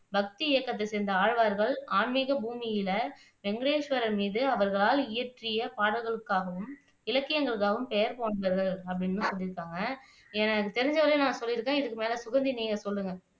பக்தி இயக்கத்தை சேய்ந்த ஆழ்வார்கள் ஆன்மீக பூமியில வெங்கடேஸ்வரன் மீது அவர்களால் இயற்றிய பாடல்களுக்காகவும் இலக்கியங்களுக்காகவும் பெயர்போன்றது அப்படின்னு சொல்லியிருக்காங்க ஏன்னா எனக்கு தெரிஞ்சவரை நான் சொல்லியிருக்கேன் இதுக்கு மேல சுகந்தி நீங்க சொல்லுங்க